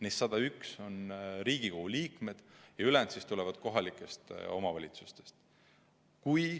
Neist 101 on Riigikogu liikmed ja ülejäänud tulevad kohalikest omavalitsustest.